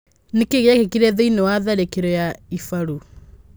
Nĩkĩĩ gĩekĩkire thĩiniĩ wa tharĩkiro ya ibaru?